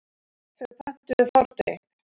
Þau pöntuðu fordrykk.